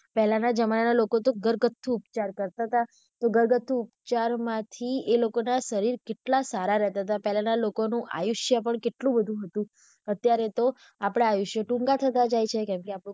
પેહલા ના જમાના ના લોકો તો ઘરગથ્થુ ઉપચાર કરતા હતા ઘરગથ્થુ ઉપચાર માંથી એ લોકો ના શરીર કેટલા સારા રહેતા હતા પહેલાના લોકોનું આયુષ્ય પણ કેટલું વધુ હતું અત્યારે તો આપડા આયુષ્ય ટૂંકા થતા જાય છે કેમ કે આપણું,